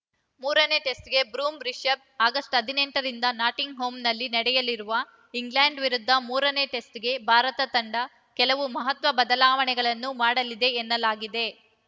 ಮೂರನೇ ಟೆಸ್ಟ್‌ಗೆ ಬೂಮ್ರಾ ರಿಶಭ್‌ ಆಗಸ್ಟ್ ಹದಿನೆಂಟರಿಂದ ನಾಟಿಂಗ್‌ಹ್ಯಾಮ್‌ನಲ್ಲಿ ನಡೆಯಲಿರುವ ಇಂಗ್ಲೆಂಡ್‌ ವಿರುದ್ಧ ಮೂರನೇ ಟೆಸ್ಟ್‌ಗೆ ಭಾರತ ತಂಡ ಕೆಲವು ಮಹತ್ವದ ಬದಲಾವಣೆಗಳನ್ನು ಮಾಡಲಿದೆ ಎನ್ನಲಾಗಿದೆ